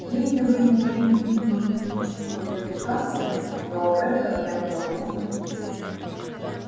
если вы имеете в виду физическую привлекательность то об этом я не могу судить